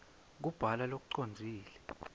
kubhala lokucondzile